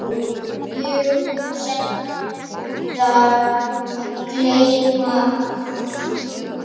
Ég mun seint gleyma því.